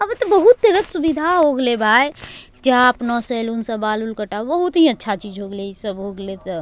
अबे तो बहुत तरह के सुविधा हो गयल भाय जा अपना सैलून से बाल-उल कटाव बहुत ही अच्छा चीज हो गई ले इ सब हो गलै त।